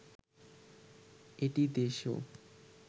এটি দেশ ও